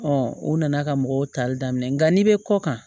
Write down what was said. o nana ka mɔgɔw tali daminɛ nka n'i bɛ kɔ kan